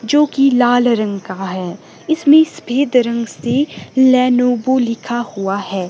जोकि लाल रंग का है इसमें सफेद रंग से लेनेवो लिखा हुआ है।